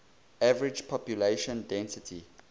average population density